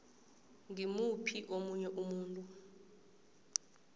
ngimuphi omunye umuntu